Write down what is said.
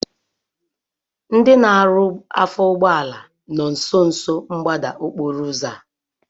Ndị na-arụ afọ ụgbọala nọ nsonso mgbada okporo ụzọ a